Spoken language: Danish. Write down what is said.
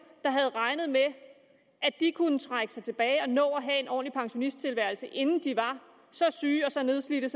havde regnet med at de kunne trække sig tilbage og nå at have en ordentlig pensionisttilværelse inden de var så syge og så nedslidte